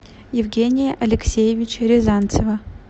евгения алексеевича рязанцева